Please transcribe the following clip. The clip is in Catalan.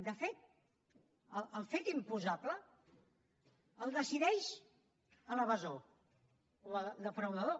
de fet el fet imposable el decideix l’evasor o el defraudador